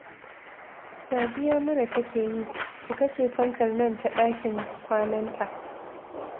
Sadiya mura take yi, ku kashe fankar nan ta ɗakin kwananta